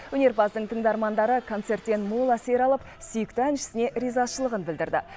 өнерпаздың тыңдармандары концерттен мол әсер алып сүйікті әншісіне ризашылығын білдірді